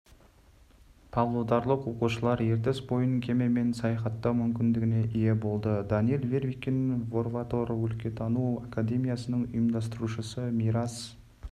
павлодарлық оқушылар ертіс бойын кемемен саяхаттау мүмкіндігіне ие болды данил вервекин форватор өлкетану академиясының ұйымдастырушысы мирас